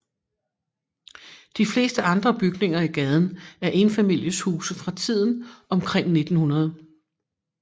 De fleste andre bygninger i gaden er enfamilieshuse fra tiden omkring 1900